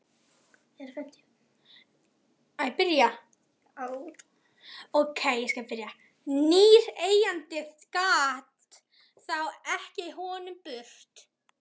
Nýr eigandi gat þá ekið honum burt.